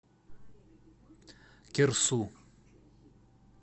кирсу